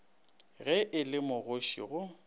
ge e le magoši go